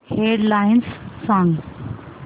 head lines सांग